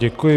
Děkuji.